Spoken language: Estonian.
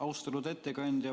Austatud ettekandja!